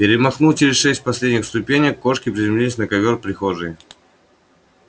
перемахнул через шесть последних ступенек и неслышно с ловкостью кошки приземлился на ковёр прихожей